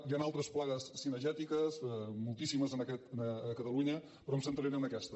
hi han altres plagues cinegètiques moltíssimes a catalunya però em centraré en aquesta